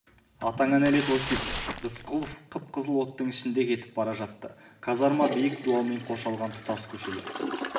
атаңа нәлет осипов рысқұлов қып-қызыл оттың ішінде кетіп бара жатты казарма биік дуалмен қоршалған тұтас көшелер